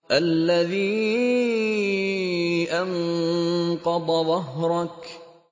الَّذِي أَنقَضَ ظَهْرَكَ